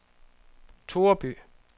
Toreby